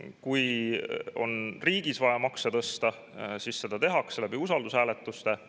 Kui on riigis vaja makse tõsta, siis seda tehakse usaldushääletuste abil.